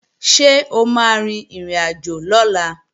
Ṣé o máa rin ìrìnàjò lọ́la?